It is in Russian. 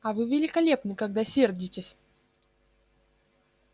а вы великолепны когда сердитесь